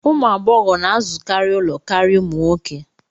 Ụmụ agbọghọ na-azụkarị ụlọ karịa ụmụ nwoke